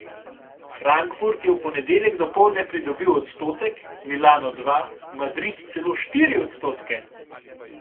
Frankfurt je v ponedeljek dopoldne pridobil odstotek, Milano dva, Madrid celo štiri odstotke.